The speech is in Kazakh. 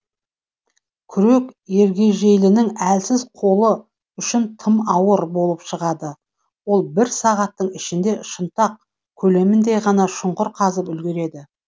күрек ергежейлінің әлсіз қолы үшін тым ауыр болып шығады ол бір сағаттың ішінде шынтақ көлеміндей ғана шұңқыр қазып үлгереді